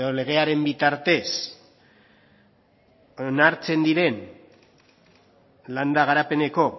legearen bitartez onartzen diren landa garapeneko